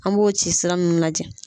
An b'o ci sira min mana diyan.